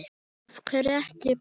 Af hverju ekki bann?